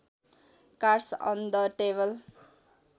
cards on the table